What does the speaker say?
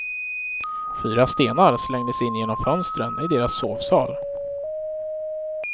Fyra stenar slängdes in genom fönstren i deras sovsal.